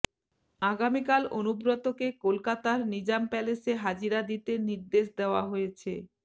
আগামীকাল অনুব্রতকে কলকাতার নিজাম প্যালেসে হাজিরা দিতে নির্দেশ দেওয়া হয়েছে